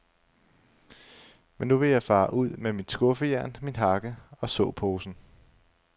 Men nu vil jeg fare ud med mit skuffejern, min hakke og såposen.